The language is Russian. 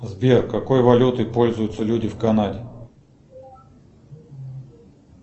сбер какой валютой пользуются люди в канаде